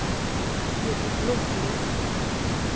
Edvin Blomgren